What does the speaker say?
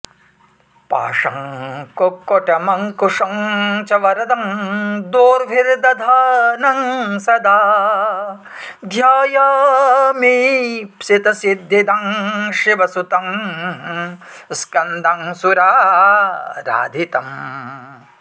पाशं कुक्कुटमंकुशं च वरदं दोर्भिर्दधानं सदा ध्यायामीप्सित सिद्धिदं शिवसुतं स्कन्दं सुराराधितम्